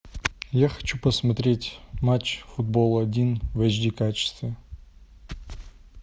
я хочу посмотреть матч футбол один в эйч ди качестве